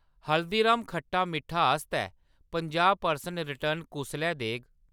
हल्दीराम्ज़ खट्टा मिट्ठा आस्तै पंजाह् प्रतिशत रिटर्न कुसलै देग ?